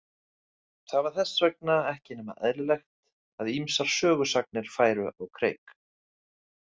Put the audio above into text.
Það var þess vegna ekki nema eðlilegt að ýmsar sögusagnir færu á kreik.